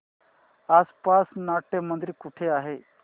आसपास नाट्यमंदिर कुठे आहे